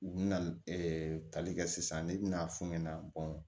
U bina tali kɛ sisan ne bi n'a f'u ɲɛna